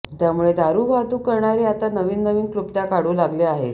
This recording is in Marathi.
त्यामुळे दारू वाहतूक करणारे आता नवनवीन क्लृप्त्या काढू लागले आहेत